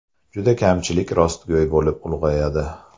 Juda kamchilik rostgo‘y bo‘lib ulg‘ayadi.